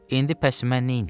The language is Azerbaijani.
İndi bəs mən neyniyim?